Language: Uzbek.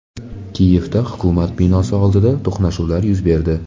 Kiyevda hukumat binosi oldida to‘qnashuvlar yuz berdi.